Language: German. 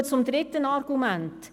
Ich komme zum dritten Argument: